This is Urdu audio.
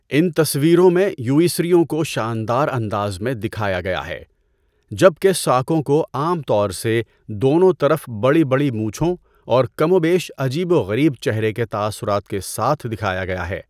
ان تصویروں میں، یوئیژیوں کو شاندار اندازمیں دکھایا گیا ہے جب کہ ساکوں کو عام طور سے دونوں طرف بڑی بڑی مونچھوں اور کم و بیش عجیب و غریب چہرے کے تاثرات کے ساتھ دکھایا گیا ہے۔